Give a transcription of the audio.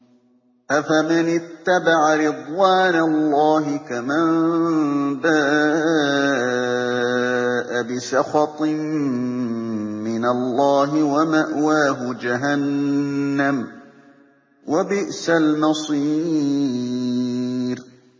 أَفَمَنِ اتَّبَعَ رِضْوَانَ اللَّهِ كَمَن بَاءَ بِسَخَطٍ مِّنَ اللَّهِ وَمَأْوَاهُ جَهَنَّمُ ۚ وَبِئْسَ الْمَصِيرُ